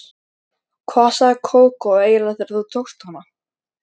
Hvað sagði Kókó eiginlega þegar þú tókst hana?